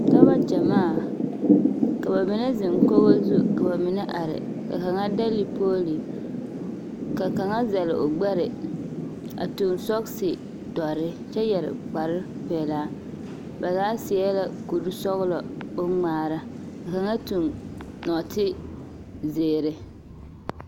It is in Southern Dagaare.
Dɔbɔ gyamaa, ka ba mine zeŋ kogo zu ka ba mine are, ka kaŋa dɛlle pooli, ka kaŋa zɛle o gbɛre, a tuŋ sɔgse-dɔre kyɛ yɛre kparepelaa, ba zaa seɛ la kur-sɔglɔ boŋŋmaara ka kaŋa tuŋ nɔɔtezeere.